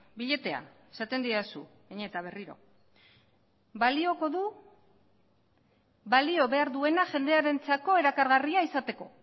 biletea esaten didazu behin eta berriro balioko du balio behar duena jendearentzako erakargarria izateko